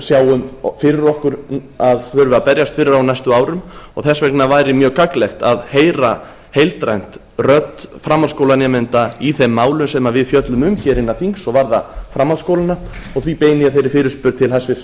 sjáum fyrir okkur að þurfi að berjast fyrir á næstu árum og þess vegna væri mjög gagnlegt að heyra heildrænt rödd framhaldsskólanemenda í þeim málum sem við fjöllum um hér innan þings og varða framhaldsskólana og því beini ég þeirri fyrirspurn til hæstvirts